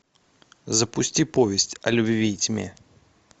запусти повесть о любви и тьме